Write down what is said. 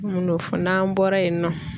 Min'o fɔ n'an bɔra yen nɔ.